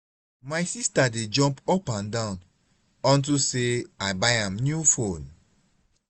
my sister dey jump up and down unto say i buy am new phone